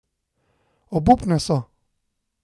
Obupne so.